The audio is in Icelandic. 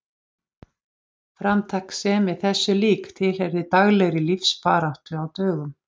Framtakssemi þessu lík tilheyrði daglegri lífsbaráttu á dögum